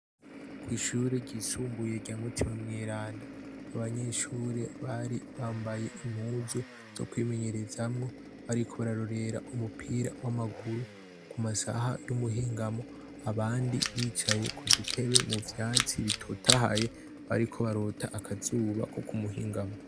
Kw'ishure ryisumbuye rya mutima mw’iranda, abanyeshure bari bambaye impuzu zo kwimenyerezaamwo bariko bararorera umupira w'amaguru ku masaha y'umuhingamo abandi bicaye ku dutebe mu vyatsi bitotahaye bariko barota akazuba ko ku muhingamo.